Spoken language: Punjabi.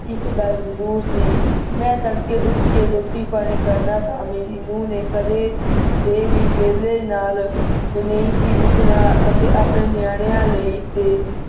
ਇੱਕ ਗਲ ਜਰੂਰ ਸੀ ਮੈਂ ਤੜਕੇ ਉਠਕੇ ਰੋਟੀ ਪਾਣੀ ਕਰਨਾ ਤਾਂ ਮੇਰੀ ਨੂੰਹ ਨੇ ਕਦੇ ਦੇ ਵੀ ਵੇਲੇ ਨਾਲ ਨਹੀਂ ਸੀ ਉੱਠਣਾ ਅਤੇ ਆਪਣੇ ਨਿਆਣਿਆਂ ਲਈ ਤੇ,